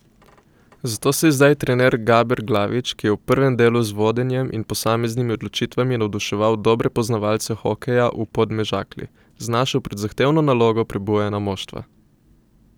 Zato se je zdaj trener Gaber Glavič, ki je v prvem delu z vodenjem in posameznimi odločitvami navduševal dobre poznavalce hokeja v Podmežakli, znašel pred zahtevno nalogo prebujanja moštva.